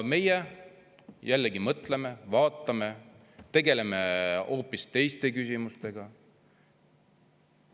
Meie jällegi mõtleme ja vaatame, tegeleme hoopis teiste küsimustega.